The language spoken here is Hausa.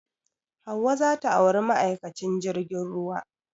Hauwa za ta auri ma'aikacin jirgin ruwa